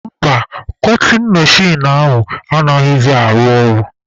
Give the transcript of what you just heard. Mba, kọtin mechin ahụ anaghịzị arụ ọrụ.